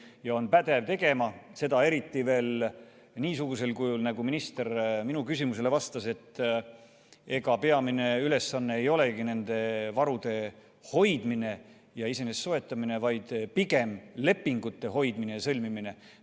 Kas ta on pädev seda tegema, eriti veel niisugusel kujul, nagu minister minu küsimusele vastates ütles, et ega peamine ülesanne ei olegi nende varude hoidmine ja soetamine, vaid pigem lepingute hoidmine ja sõlmimine.